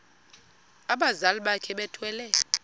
abazali bakhe bethwele